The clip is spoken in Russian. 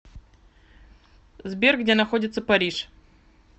сбер где находится париж